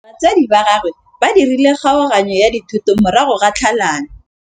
Batsadi ba gagwe ba dirile kgaoganyô ya dithoto morago ga tlhalanô.